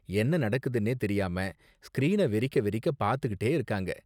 என்ன நடக்குதுனே தெரியாம ஸ்க்ரீன வெறிக்க வெறிக்க பாத்துக்கிட்டே இருக்காங்க.